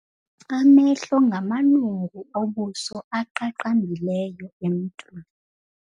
Amehlo ngamalungu obuso aqaqambileyo emntwini.